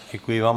Děkuji vám.